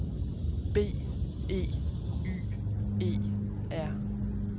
B E Y E R